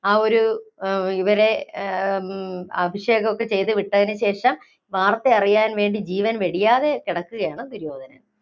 ആ ഒരു ഇവരെ ആഹ് അഭിഷേകമൊക്കെ ചെയ്തുവിട്ടത്തിനുശേഷം വാര്‍ത്തയറിയാണ്‍ വേണ്ടി ജീവന്‍ വെടിയാതെ കിടക്കുകയാണ് ദുര്യോധനൻ.